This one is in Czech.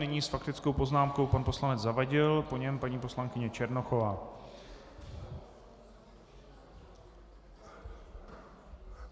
Nyní s faktickou poznámkou pan poslanec Zavadil, po něm paní poslankyně Černochová.